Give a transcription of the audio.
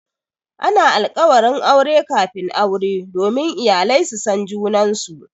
Ana alkawarin aure kafin aure domin iyalai su san junansu.